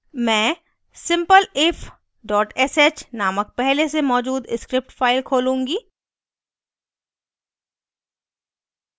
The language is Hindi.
मैं simpleif sh named पहले से मौजूद script फाइल खोलूंगी